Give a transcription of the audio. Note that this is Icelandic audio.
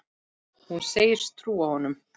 Hún segist trúa honum.